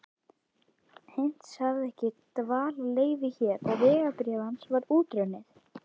Heinz hafði ekki dvalarleyfi hér og vegabréf hans var útrunnið.